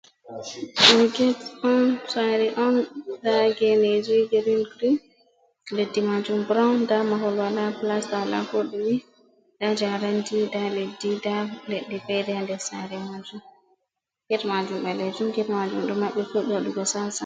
Get on sare on nda geneji green-green, leddi majum brown nda mahol wala blasta wala koɗume. Nda jarendi nda leddi nda leɗɗe fere ha nder sare majum, get majum ɓalejum get majum ɗo maɓɓi fuɗɗi waɗugo sasa.